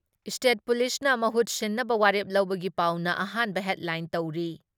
State ꯄꯨꯂꯤꯁꯅ ꯃꯍꯨꯠ ꯁꯤꯟꯅꯕ ꯋꯥꯔꯦꯞ ꯂꯧꯕꯒꯤ ꯄꯥꯎꯅ ꯑꯍꯥꯟꯕ ꯍꯦꯗꯂꯥꯏꯟ ꯇꯧꯔꯤ ꯫